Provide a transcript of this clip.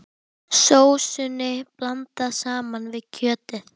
Sósunni blandað saman við kjötið.